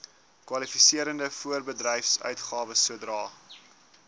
kwalifiserende voorbedryfsuitgawes sodra